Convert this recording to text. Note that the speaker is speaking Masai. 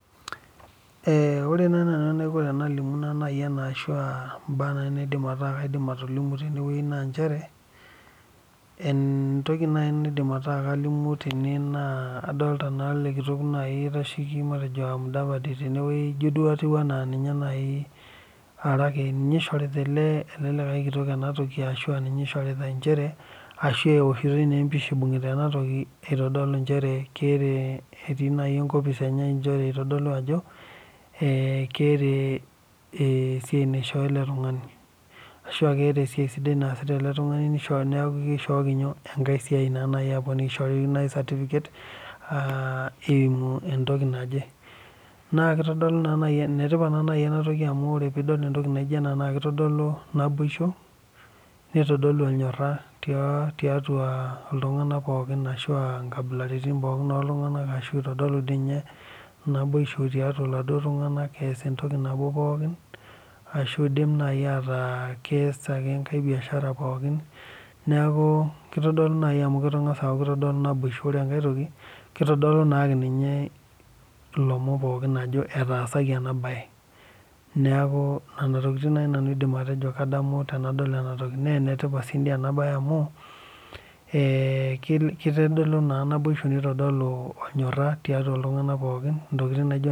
Ore naaji naanu enaiko Tena limu ena ashu mbaa naidim atolimu tene adolita ele kitok oitasheki matejo mudavadi tenewueji ejio ninye oishorita ele likae kitok ena toki arashua ninye eishoritae ashu ewoshitoi empisha eibungita ena toki naitodolu etii enkopis enye eitodolu Ajo keeta esiai naishoo ele tung'ani ashu keeta esiai sidai nataasa ele tung'ani neeku kiahoki enkae siai aponiki ashu eishoki naaji certificate eyimu entoki naaje naa enetipat naaji ena toki amu tenidol entoki naijio ena naa kitodolu naibosho neitodolu enkibunga tiatua nkabilaritin pookin oo iltung'ana ashu eitodolu naboisho tiatua iltung'ana eas entoki nabo pookin ashu edim aku keas entoki nabo ashu enkae biashara neeku kitodolu amu keng'as aaku kitodolu naboisho ore enkae toki naaninye elomon pookin Ajo etaasaki ena mbae neeku Nena tokitin naaji nanu aidim atejo kadamu tenadol ena toki naa enetipat sii ena mbae amu ketodolu naboisho neitodolu ornyoraa tiatua iltung'ana pookin ntokitin naijio nena